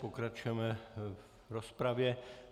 Pokračujeme v rozpravě.